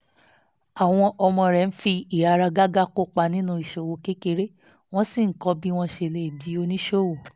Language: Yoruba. àwọn ọmọ rẹ̀ ń fi ìháragàgà kópa nínú ìṣòwò kékeré wọ́n sì ń kọ́ bí wọ́n ṣe lè di oníṣòwò